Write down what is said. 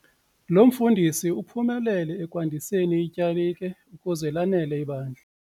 Lo mfundisi uphumelele ekwandiseni ityalike ukuze lanele ibandla.